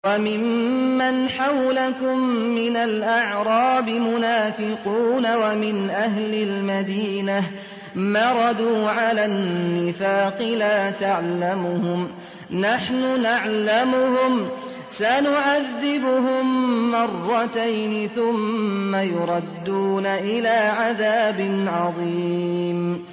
وَمِمَّنْ حَوْلَكُم مِّنَ الْأَعْرَابِ مُنَافِقُونَ ۖ وَمِنْ أَهْلِ الْمَدِينَةِ ۖ مَرَدُوا عَلَى النِّفَاقِ لَا تَعْلَمُهُمْ ۖ نَحْنُ نَعْلَمُهُمْ ۚ سَنُعَذِّبُهُم مَّرَّتَيْنِ ثُمَّ يُرَدُّونَ إِلَىٰ عَذَابٍ عَظِيمٍ